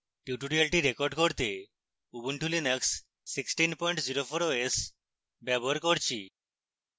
tutorial record করতে ubuntu linux 1604 os ব্যবহার করছি